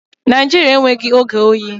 Naijiria enweghị oge oyi